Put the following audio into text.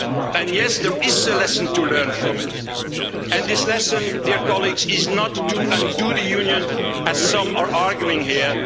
And yes, there is a lesson to learn from it, and this lesson, dear colleagues, is not to undo the union, as some are arguing